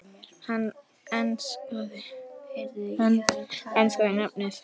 Hann enskaði nafnið